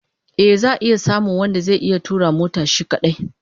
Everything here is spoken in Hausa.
Eh, za'a samu wanda zai iya tura mota shi kadai